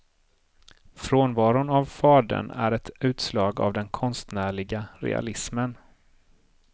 Frånvaron av fadern är ett utslag av den konstnärliga realismen.